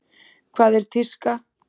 Hvað er tíska?